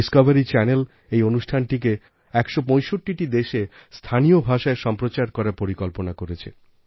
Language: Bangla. Discoveryচ্যানেল এই অনুষ্ঠানকে ১৬৫টিদেশে স্থানীয়ভাষায় সম্প্রচার করার পরিকল্পনা করেছে